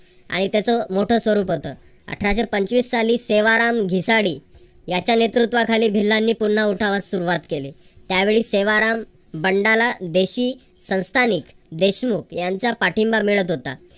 आणि त्याचं मोठे स्वरूप होतं. अठराशे पंचवीस साली सेवाराम भीसाडे त्याच्या नेतृत्वाखाली भिल्लांनी पुन्हा उठावास सुरुवात केली. त्यावेळी सेवाराम बंडाला देखील संस्थानिक देशमुख यांचा पाठिंबा मिळत होता.